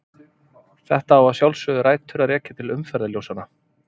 Þetta á að sjálfsögðu rætur að rekja til umferðarljósanna.